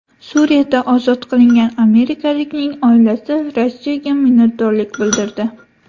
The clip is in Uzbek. Suriyada ozod qilingan amerikalikning oilasi Rossiyaga minnatdorlik bildirdi.